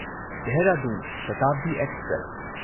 Dehradun Shatabdi express